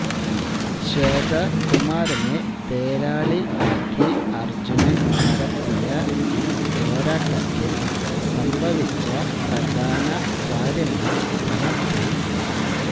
ശ്വേത കുമാരനെ തേരാളി ആക്കി അർജ്ജുനൻ നടത്തിയ ഈ പോരാട്ടത്തിൽ സംഭവിച്ച പ്രധാന കാര്യങ്ങള് ക്രമത്തിൽ